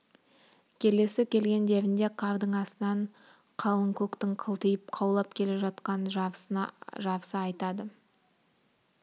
келесі келгендерінде қардың астынан қалың көктің қылтиып қаулап келе жатқанын жарыса айтады